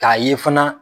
K'a ye fana